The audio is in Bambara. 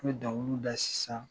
N bi dɔnkiliw da sisan